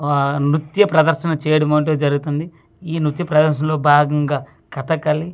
ఆ నృత్య ప్రదర్శన చెయ్యడం అంటూ జరుగుతుంది ఈ నృత్య ప్రదర్శన లో భాగంగా ఖాతాకలి.